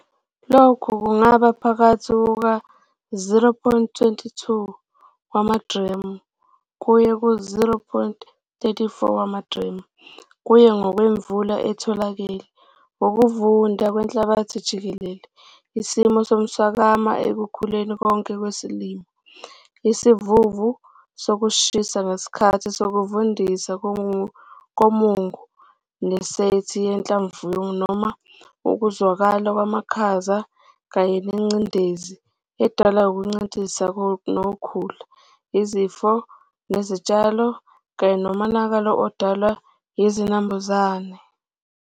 Lokhu kungaba phakathi kuka-0,22 wamagremu kuye ku-0,34 wamagremu kuye ngokwemvula etholakele, ukuvunda kwenhlabathi jikelele, isimo somswakama ekukhuleni konke kwesilimo, isivuvu sokushisa ngesikhathi sokuvundisa komungu kanye ne-sethi yezinhlamvu noma ukuzwakala kwamakhaza kanye nengcindezi edalwa ukuncintisana nokhula, izifo zezitshalo kanye nomonakalo odalwa yizinambuzane.